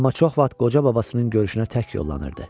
Amma çox vaxt qoca babasının görüşünə tək yollanırdı.